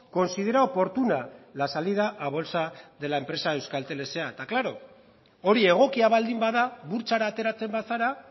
considera oportuna la salida a bolsa de la empresa euskaltel sa eta klaro hori egokia baldin bada burtsara ateratzen bazara